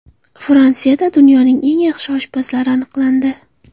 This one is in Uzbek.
Fransiyada dunyoning eng yaxshi oshpazlari aniqlandi.